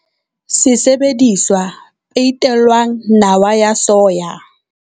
Sesebediswa peitelwang nawa ya Soya.